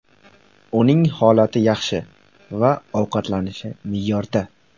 Uning holati yaxshi va ovqatlanishi me’yorda.